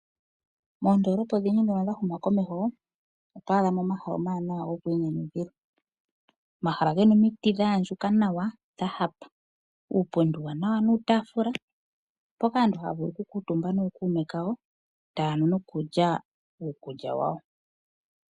Oondolopa odhindji dhoka dha huma komeho otwa adha mo omahala omawanawa goku inyanyudhila. Omahala gena omiiti dha andjuka nawa. Dha hapa. Uupundi uuwanawa nuutafula mpoka aantu haya vulu oku kuutumba nookume kayo taanu nokulya uukulya wayo.